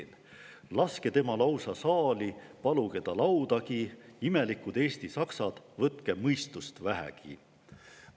// Laske tema lausa saali, / paluge ta laudagi –/ imelikud eesti saksad, / võtke mõistust vähegi!